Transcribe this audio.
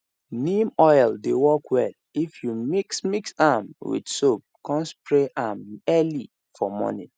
neem oil dey work well if you mix mix am with soap come spray am early for morning